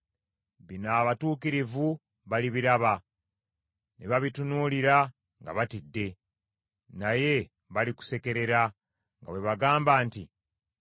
Bino abatuukirivu balibiraba, ne babitunuulira nga batidde. Naye balikusekerera, nga bwe bagamba nti,